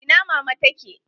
Ina mama ta ke?